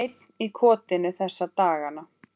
Einn í kotinu þessa dagana.